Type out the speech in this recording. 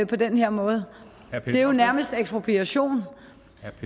på den her måde det er jo nærmest ekspropriation